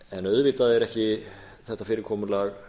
en auðvitað er ekki þetta fyrirkomulag